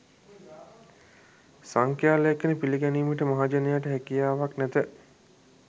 සංඛ්‍යා ලේඛන පිළිගැනීමට මහජනයාට හැකියාවක් නැත